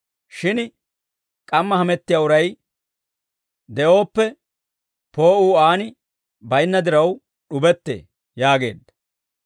Shin k'amma hamettiyaa uray de'ooppe, poo'uu aan baynna diraw, d'ubettee» yaageedda.